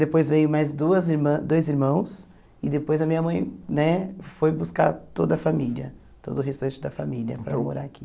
Depois veio mais duas irmã dois irmãos e depois a minha mãe né foi buscar toda a família, todo o restante da família para morar aqui.